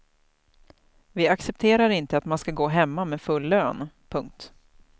Vi accepterar inte att man ska gå hemma med full lön. punkt